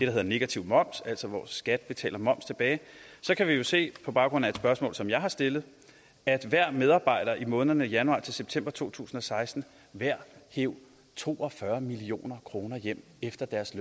hedder negativ moms altså hvor skat betaler moms tilbage kan vi jo se på baggrund af et spørgsmål som jeg har stillet at hver medarbejder i månederne januar september to tusind og seksten hver hev to og fyrre million kroner hjem efter at deres